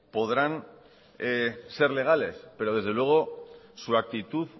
podrán ser legales pero desde luego su actitud